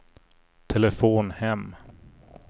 telefon hem